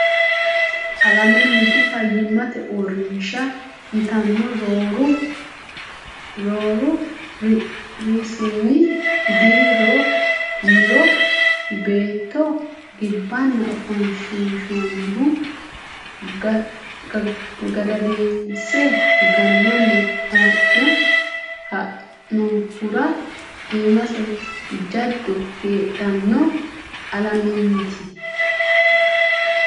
Alamenniti Fayyimmate Uurrinsha yitanno rooru Rsn Dii ro niro beetto gibbanna ofoshshiinshonnihu gadadinse gannanni haa ne ha nannihura iimase jaddo heedhanno Alamenniti.